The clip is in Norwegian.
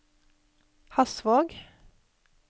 Hasvåg